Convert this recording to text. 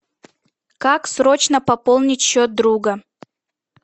как срочно пополнить счет друга